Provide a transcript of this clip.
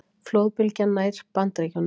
Flóðbylgjan nær Bandaríkjunum